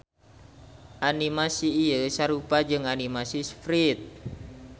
Animasi ieu sarupa jeung animasi sprite.